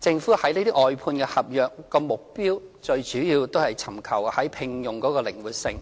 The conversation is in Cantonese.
政府外判合約的目的，最主要是尋求在聘用方面的靈活性，